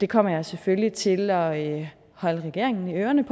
kommer selvfølgelig til at holde regeringen i ørerne